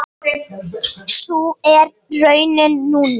Sú er raunin núna.